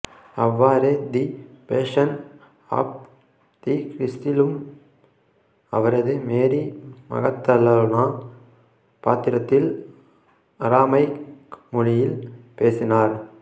அவ்வாறே the Passion of the கிறிஸ்டிலும் அவரது மேரி மகதலேனா பாத்திரத்தில் அராமைக் மொழியில் பேசினார்